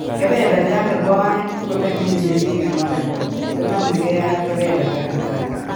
Kebeberta nebo aeng ko nemi mising en Waardenburg konamegei ak kebeberta netai